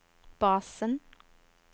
basen